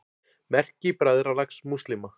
Merki Bræðralags múslíma.